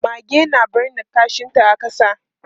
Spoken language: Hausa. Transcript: Mage na binne kashinta a ƙasa.